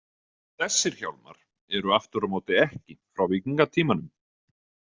Þessir hjálmar eru aftur á móti ekki frá víkingatímanum.